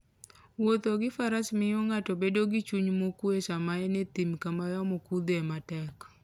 Wuotho gi Faras miyo ng'ato bedo gi chuny mokuwe sama en e thim kama yamo kuthoe matek.